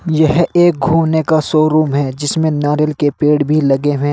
यह एक घूमने का शोरूम है जिसमें नारियल के पेड़ भी लगे हुए--